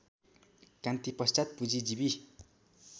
क्रान्तिपश्चात् पुँजीजीवी